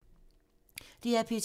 DR P2